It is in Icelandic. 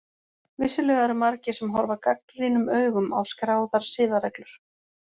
Vissulega eru margir sem horfa gagnrýnum augum á skráðar siðareglur.